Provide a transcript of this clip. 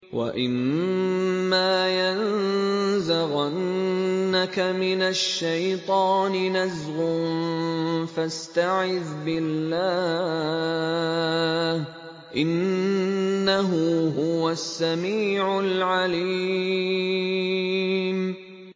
وَإِمَّا يَنزَغَنَّكَ مِنَ الشَّيْطَانِ نَزْغٌ فَاسْتَعِذْ بِاللَّهِ ۖ إِنَّهُ هُوَ السَّمِيعُ الْعَلِيمُ